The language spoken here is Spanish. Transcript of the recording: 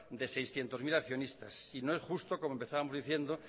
de seiscientos mil accionistas y no es justo como empezábamos diciendo